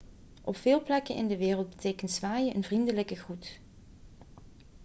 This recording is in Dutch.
op veel plekken in de wereld betekent zwaaien een vriendelijke groet